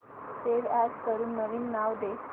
save as करून नवीन नाव दे